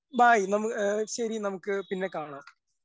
bye നമു എ ശരി നമുക്ക് പിന്നെ കാണാം